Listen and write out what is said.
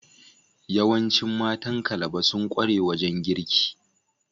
Yawancin matan Calabar sun kware wajen girki.